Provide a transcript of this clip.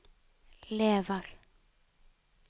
lever